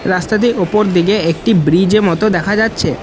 রাস্তাটির ওপর দিকে একটি ব্রীজে মতো দেখা যাচ্ছে।